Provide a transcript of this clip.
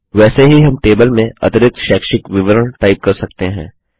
वैसे ही हम टेबल में अतिरिक्त शैक्षिक विवरण टाइप कर सकते हैं